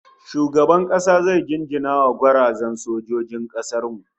Shugaban kasa zai jinjina wa gwarazan sojojin kasar mu